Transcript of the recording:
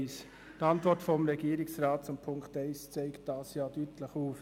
Die Antwort des Regierungsrats zu Punkt 1 zeigt dies deutlich auf.